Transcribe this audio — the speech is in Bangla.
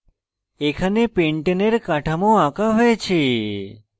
এখানে pentane এর কাঠামো আঁকা হয়েছে